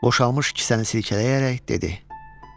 Boşalmış kisəni silkələyərək dedi: